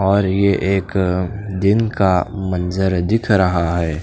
और ये एक दीन का मंजर दिख रहा हैं।